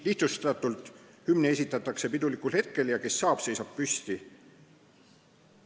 Lihtsustatult: hümni esitatakse pidulikul hetkel ja kes saab, seisab püsti.